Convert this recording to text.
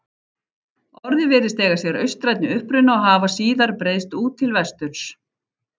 Orðið virðist eiga sér austrænni uppruna og hafa síðar breiðst út til vesturs.